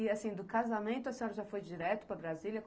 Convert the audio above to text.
E, assim, do casamento a senhora já foi direto para Brasília?